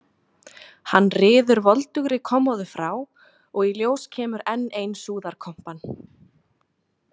Hann ryður voldugri kommóðu frá og í ljós kemur enn ein súðarkompan.